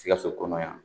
Sikaso kɔnɔ yan